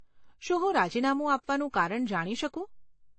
શું હું રાજીનામું આપવાનું કારણ જાણી શકું?